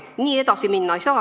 Nii edasi minna ei saa.